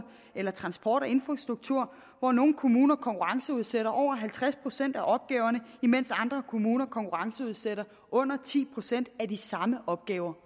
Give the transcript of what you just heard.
eller transport og infrastruktur hvor nogle kommuner konkurrenceudsætter over halvtreds procent af opgaverne mens andre kommuner konkurrenceudsætter under ti procent af de samme opgaver